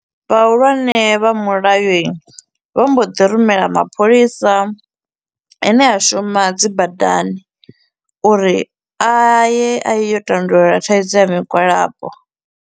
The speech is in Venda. Vhahulwane vha mulayo i, vho mbo ḓi rumela mapholisa a ne a shuma dzi badani uri a ye a yo tandulula thaidzo ya migwalabo.